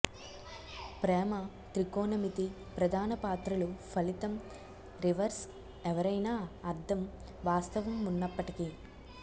ప్రేమ త్రికోణమితి ప్రధాన పాత్రలు ఫలితం రివర్స్ ఎవరైనా అర్థం వాస్తవం ఉన్నప్పటికీ